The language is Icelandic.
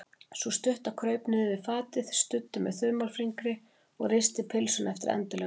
Sú stutta kraup niður við fatið, studdi við með þumalfingri og risti pylsuna eftir endilöngu.